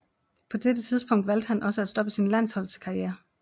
På dette tidspunkt valgte han også at stoppe sin landsholdskarriere